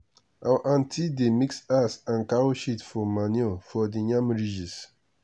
our aunty dey mix ash and cow shit for manure for the yam ridges